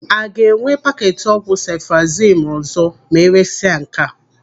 A ga-enwe paketi ọgwụ sefụrozimu ọzọ ma eresia nke a?